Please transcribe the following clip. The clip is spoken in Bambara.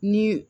Ni